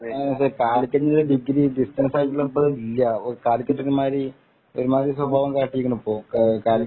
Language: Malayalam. കാലിക്കറ്റിന്‍റെ ഡിഗ്രി ഡിസ്റ്റൻസ് ആയിട്ട് ഇപ്പൊ ഇല്ല. ഇപ്പൊ കാലിക്കറ്റ് ഒരു മാതിരി ഒരുമാതിരി സ്വഭാവം കാട്ടിയേക്കണ് ഇപ്പൊ